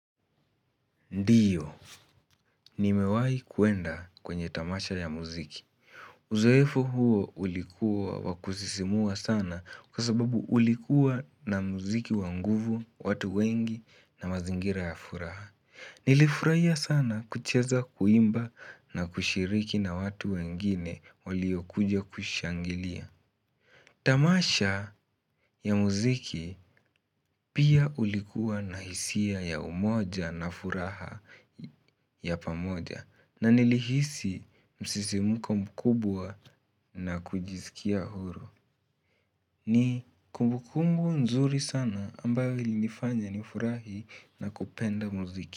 Ndiyo, nimewahi kuenda kwenye tamasha ya muziki. Uzoefu huo ulikuwa wakusisimua sana kwa sababu ulikuwa na muziki wa nguvu, watu wengi na mazingira ya furaha Nilifurahia sana kucheza kuimba na kushiriki na watu wengine waliokuja kushangilia Tamasha ya muziki pia ulikuwa na hisia ya umoja na furaha ya pamoja na nilihisi msisimuko mkubwa na kujisikia huru ni kumbu kumbu nzuri sana ambayo ili nifanya ni furahi na kupenda muziki.